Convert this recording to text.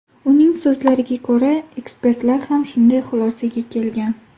Uning so‘zlariga ko‘ra, ekspertlar ham shunday xulosaga kelgan.